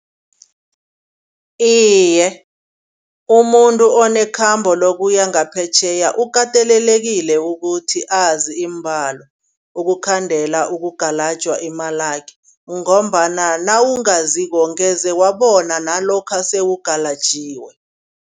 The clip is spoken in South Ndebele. Iye umuntu onekhambo lokuya ngaphetjheya ukatelelekile ukuthi azi iimbalo. Ukukhandela okungalajwa imalakhe ngombana nawungaziko ngeze wabona nalokha sewugalajiwe.